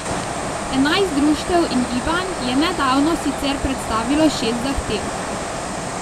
Enajst društev in gibanj je nedavno sicer predstavilo šest zahtev.